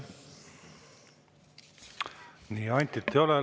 Nii, Antit ei ole.